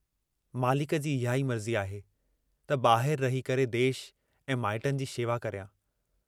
मालिक जी इहाई मर्जी आहे त बाहिर रही करे देश ऐं माइटनि जी शेवा करियां।